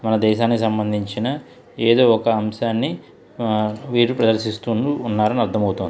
మన దేశానికి సంబందించిన ఎదో ఒక అంశాన్ని వీళ్ళు ప్రదర్శిస్తున్నట్టు అర్ధమవుతుంది.